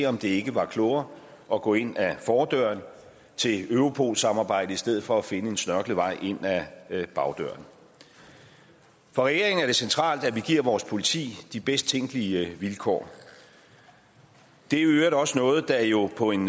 om ikke det var klogere at gå ind ad fordøren til europol samarbejdet i stedet for at finde en snørklet vej ind ad bagdøren for regeringen er det centralt at vi giver vores politi de bedst tænkelige vilkår det er i øvrigt også noget der jo på en